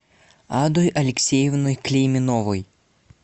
адой алексеевной клейменовой